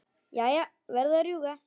Jæja, verð að rjúka.